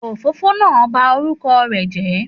Òfófó náà ba orúkọ rẹ̀ jẹ́